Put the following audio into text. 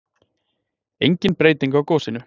Engin breyting á gosinu